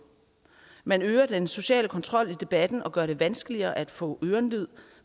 man øger den sociale kontrol i debatten og gør det vanskeligere at få ørenlyd